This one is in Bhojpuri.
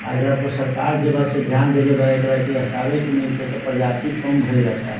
आ एकर पे सर्कार जेबा से धेयान देले बा एकरा के हतावे के नइखे एकरा प्रजाति कम भइल जाता।